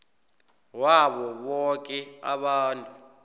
wabo boke abantu